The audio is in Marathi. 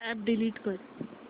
अॅप डिलीट कर